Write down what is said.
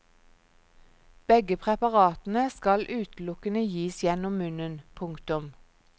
Begge preparatene skal utelukkende gis gjennom munnen. punktum